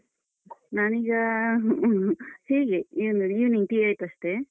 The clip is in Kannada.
ನಾನೀಗ ಹೀಗೆ ಏನು evening tea ಆಯ್ತಷ್ಟೇ.